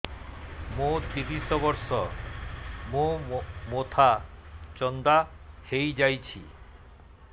ମୋ ତିରିଶ ବର୍ଷ ମୋ ମୋଥା ଚାନ୍ଦା ହଇଯାଇଛି